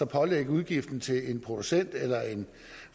pålægge udgiften til en producent eller en